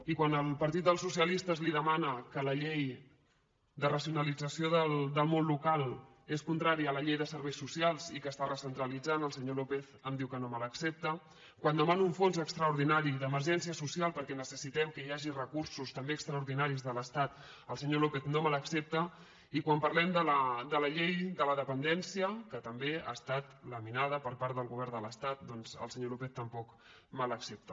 i quan el partit dels socialistes li demana que la llei de racionalització del món local és contrària a la llei de serveis socials i que està recentralitzant el senyor lópez em diu que no me l’accepta quan demano un fons extraordinari d’emergència social perquè necessitem que hi hagi recursos també extraordinaris de l’estat el senyor lópez no me l’accepta i quan parlem de la llei de la dependència que també ha estat laminada per part del govern de l’estat doncs el senyor lópez tampoc me l’accepta